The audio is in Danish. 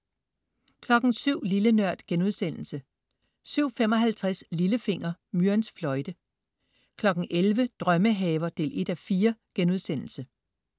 07.00 Lille Nørd* 07.55 Lillefinger. Myrens fløjte 11.00 Drømmehaver 1:4*